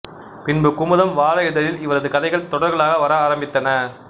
பின்பு குமுதம் வார இதழில் இவரது கதைகள் தொடர்களாக வர ஆரம்பித்தன